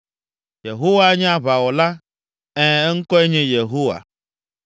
Yehowa nye aʋawɔla, Ɛ̃, eŋkɔe nye Yehowa.